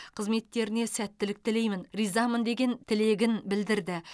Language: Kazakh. қызметтеріне сәттілік тілеймін ризамын деген тілегін білдірді